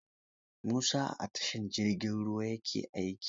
Musa a tashar jirgin ruwa ya ke aiki?